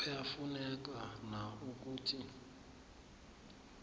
kuyafuneka na ukuthi